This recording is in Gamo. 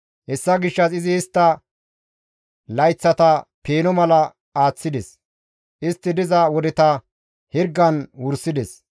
Hessa gishshas izi istta layththata peeno mala aaththides; istti diza wodeta hirgan wursides.